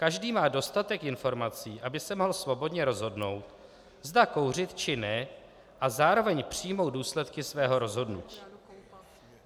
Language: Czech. Každý má dostatek informací, aby se mohl svobodně rozhodnout, zda kouřit či ne, a zároveň přijmout důsledky svého rozhodnutí.